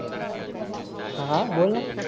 हां बोल ना.